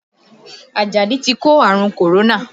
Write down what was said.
Ajadi ti kó àrùn kòrónà